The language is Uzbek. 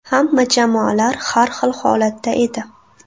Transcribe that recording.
Hamma jamoalar har xil holatda edi.